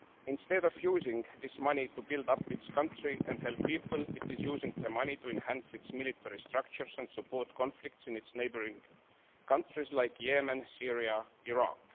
Instead of using this money to build up its country and help people, it is using the money to enhance its military structures and support conflicts in its neighbouring countries like Yemen, Syria and Iraq.